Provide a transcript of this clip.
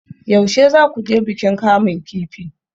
Yaushe za ku je bikin kamun kifi?